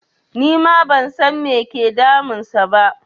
Nima ban san me ke damun sa ba